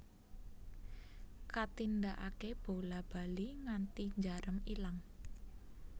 Katindakake bola bali nganti njarem ilang